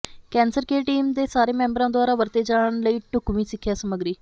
cancer care team ਦੇ ਸਾਰੇ ਮੈਂਬਰਾਂ ਦੁਆਰਾ ਵਰਤੇ ਜਾਣ ਲਈ ਢੁਕਵੀਂ ਸਿੱਖਿਆ ਸਮੱਗਰੀ